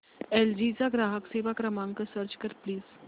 L G चा ग्राहक सेवा क्रमांक सर्च कर प्लीज